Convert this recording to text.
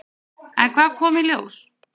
En hvað kom í ljós?